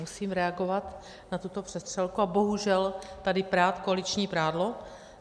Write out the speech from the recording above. Musím reagovat na tuto přestřelku a bohužel tady prát koaliční prádlo.